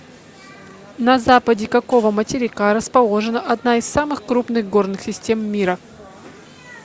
на западе какого материка расположена одна из самых крупных горных систем мира